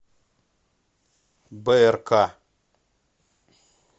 брк